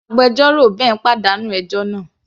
Agbẹjọ́rò Ben pàdánù ẹjọ́ náà.